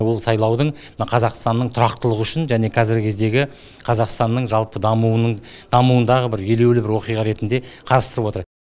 ол сайлаудың мына қазақстанның тұрақтылығы үшін және қазіргі кездегі қазақстанның жалпы дамуындағы бір елеулі оқиға ретінде қарастырып отыр